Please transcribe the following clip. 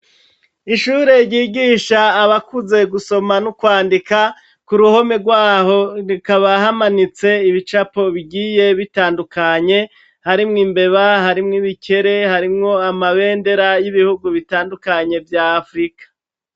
Ishure ryigisha abakuze gusoma no kwandika, ku ruhome rw'aho hakaba hamanitse ibicapo bigiye bitandukanye, harimwo imbeba, harimwo ibikere, harimwo amabendera y'ibihugu bitandukanye vya Afurika.